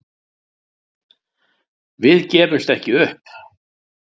Við gefumst ekki upp